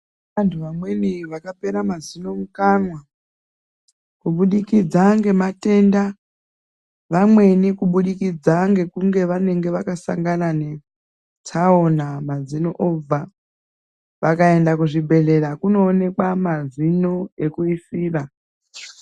Antu amweni akapera mazino mukanwa kubudikidza nematenda amnwi kubudikidza tsaona mazino obva vakawanda kuzvibhedhlera kunoonekwa mazino ekuisira.